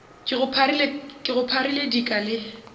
ke go pharile dika le